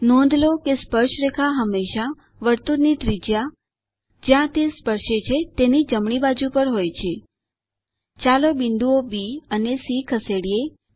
નોંધ લો કે સ્પર્શરેખા હંમેશા વર્તુળની ત્રિજ્યા જ્યાં તે સ્પર્શે છે તેની જમણી બાજુ પર હોય છે ચાલો બિંદુઓ બી અને સી ખસેડીએ